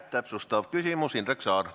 Täpsustav küsimus, Indrek Saar.